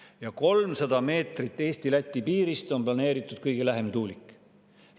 Ja 300 meetri kaugusele Eesti-Läti piirist on planeeritud kõige lähem tuulik.